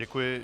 Děkuji.